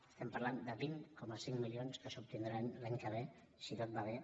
estem parlant de vint coma cinc milions que s’obtindran l’any que ve si tot va bé